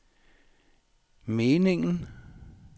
meningen